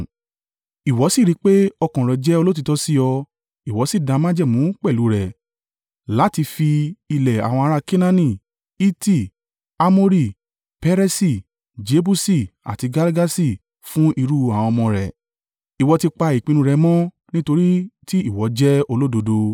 Ìwọ sì rí í pé ọkàn rẹ̀ jẹ́ olóòtítọ́ sí ọ, ìwọ sì dá májẹ̀mú pẹ̀lú u rẹ̀ láti fi ilẹ̀ àwọn ará a Kenaani, Hiti, Amori, Peresi, Jebusi àti Girgaṣi fún irú àwọn ọmọ rẹ̀. Ìwọ ti pa ìpinnu rẹ̀ mọ́ nítorí tí ìwọ jẹ́ olódodo.